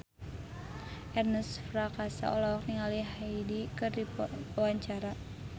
Ernest Prakasa olohok ningali Hyde keur diwawancara